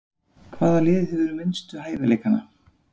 Hvaða lið hefur minnstu hæfileikana?